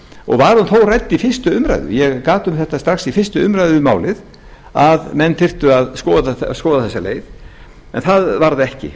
og var hún þó rædd við fyrstu umræðu ég gat um þetta strax við fyrstu umræðu um málið að menn þyrftu að skoða þessa leið en það varð ekki